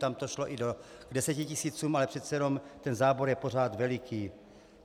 Tam to šlo i k desetitisícům, ale přece jenom ten zábor je pořád veliký.